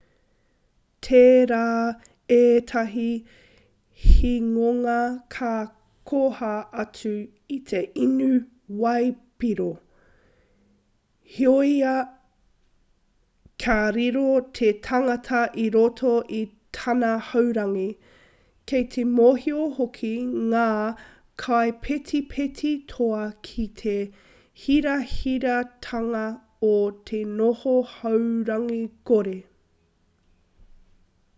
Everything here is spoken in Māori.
tērā ētahi hingonga ka koha atu i te inu waipiro heoi ka riro te tangata i roto i tana haurangi kei te mōhio hoki ngā kaipetipeti toa ki te hirahiratanga o te noho haurangi kore